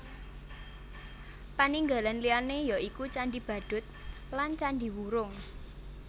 Paninggalan liyané ya iku Candhi Badut lan Candhi Wurung